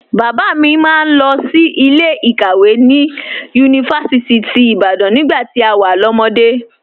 Bàbá mi máa ń lọ sí ilé ìkàwé ní Yunifásítì ti Ibadan nígbà tí a wà lọ́mọde